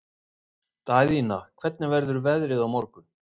Daðína, hvernig verður veðrið á morgun?